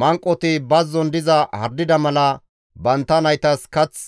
Manqoti bazzon diza hardida mala, bantta naytas kath